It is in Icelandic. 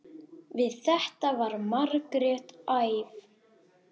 Við þetta varð Margrét æf.